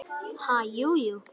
Ha, jú, jú